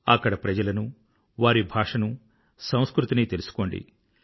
అక్కడి ప్రజలను వారి భాషను సంస్కృతిని తెలుసుకోండి